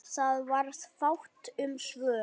Það varð fátt um svör.